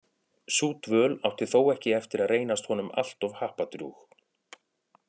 Sú dvöl átti þó ekki eftir að reynast honum alltof happadrjúg.